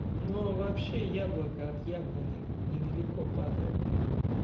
но вообще яблоко от яблони недалеко падает